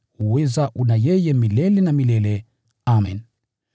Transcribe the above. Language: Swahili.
Uweza una yeye milele na milele. Amen.